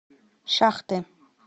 шахты